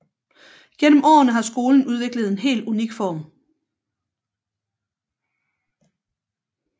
Gennem årene har skolen udviklet en helt unik form